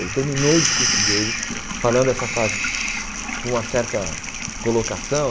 Ele terminou o discurso dele falando essa frase com uma certa colocação.